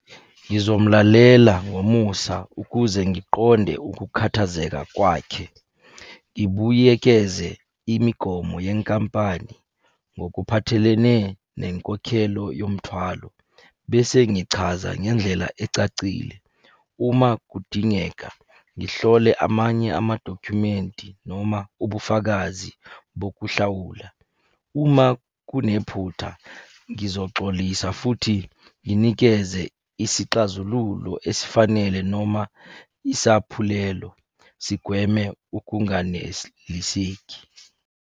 Ngizomlalela ngomusa ukuze ngiqonde ukukhathazeka kwakhe. Ngibuyekeze imigomo yenkampani ngokuphathelene nenkokhelo yomuthwalo, bese ngichaza ngendlela ecacile. Uma kudingeka, ngihlole amanye amadokhumeni noma ubufakazi bokuhlawula. Uma kunephutha, ngizoxolisa futhi nginikeze isixazululo esifanele noma isaphulelo sigweme ukunganeliseki.